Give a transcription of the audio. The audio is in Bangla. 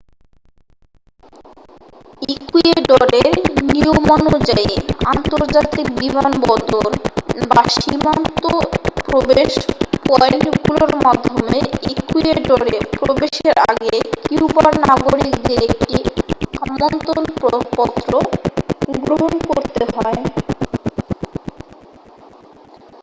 ইকুয়েডরের নিয়মানুযায়ী আন্তর্জাতিক বিমানবন্দর বা সীমান্তে প্রবেশ পয়েন্টগুলোর মাধ্যমে ইকুয়েডরে প্রবেশের আগে কিউবার নাগরিকদের একটি আমন্ত্রণ পত্র গ্রহণ করতে হয়